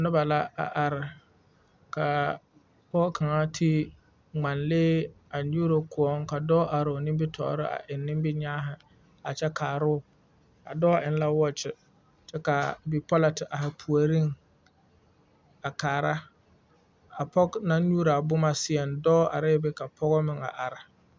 Nobɔ la a are kaa pɔg kaŋa te ngmanlee a nyuuro kõɔ ka dɔɔ aroo nimitoore a eŋ niminyaahi a kyɛ kaaroo a dɔɔ eŋ la wɔɔkyi kyɛ kaa bipɔlɔ te aihi puoriŋ a kaara a pɔg naŋ nyuooraa bomma seɛŋ dɔɔ arɛɛ be ka pɔgɔ meŋ a are.